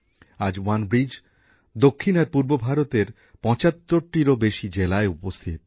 আজ ওয়ানব্রিজ দক্ষিণ আর পূর্ব ভারতের ৭৫টিরও বেশী জেলায় সক্রিয়